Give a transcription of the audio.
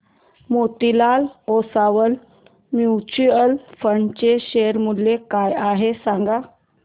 Motilal Oswal mutual fund चे share मूल्य काय आहे सांगा